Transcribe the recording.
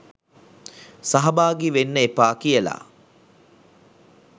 සහභාගි වෙන්න එපා කියලා